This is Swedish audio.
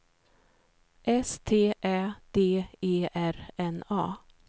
S T Ä D E R N A